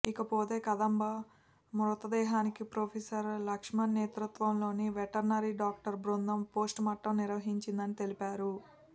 ఇక పోతే కదంబ మృతదేహానికి ప్రొఫెసర్ లక్ష్మణ్ నేతృత్వంలోని వెటర్నరీ డాక్టర్ల బృందం పోస్టుమార్టం నిర్వహించిందని తెలిపారు